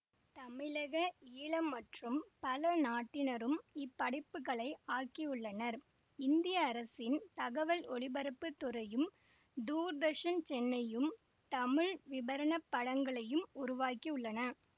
தமிழகஈழ மற்றும் பல நாட்டினரும் இப்படைப்புகளை ஆக்கியுள்ளனர் இந்திய அரசின் தகவல் ஒலிபரப்பு துறையும் தூர்தர்சன்சென்னையும் தமிழ் விபரணப் படங்களையும் உருவாக்கியுள்ளனர்